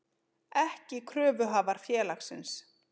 ekki kröfuhafar félagsins.